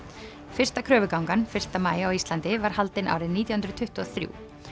fyrsta kröfugangan fyrsta maí á Íslandi var haldin árið nítján hundruð tuttugu og þrjú